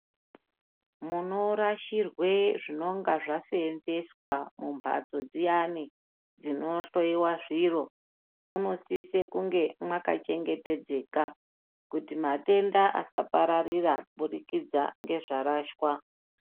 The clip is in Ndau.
Munorasirwe zvinenge zvaseenzeswa mumhatso dziyani dzinohloyiwa zviro munosise kunge mwakachengetedzeka kuti matenda asapapararire, kuburikidza ngezvarashwa.